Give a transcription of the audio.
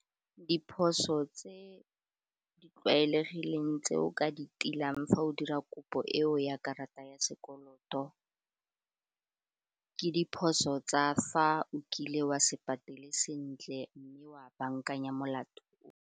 Diphoso tse di tlwaelegileng tse o ka di tiileng fa o dira kopo eo ya karata ya sekoloto ke diphoso tsa fa o kile wa se patele sentle mme wa bankanya molato o.